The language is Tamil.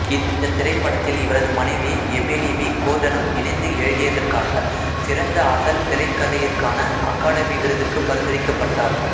இந்த திரைப்படத்தில் இவரது மனைவி எமிலி வி கோர்டனுடன் இணைந்து எழுதியதற்காக சிறந்த அசல் திரைக்கதையிற்கான அகாதமி விருதுக்கு பரிந்துரைக்கப்பட்டார்